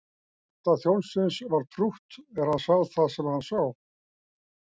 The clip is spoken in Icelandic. Hjarta þjónsins var trútt er hann sá það sem hann sá.